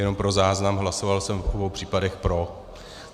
Jenom pro záznam, hlasoval jsem v obou případech pro.